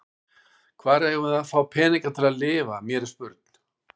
Hvar eigum við að fá peninga til að lifa, mér er spurn.